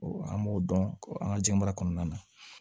an b'o dɔn an ka jiyɛn baara kɔnɔna na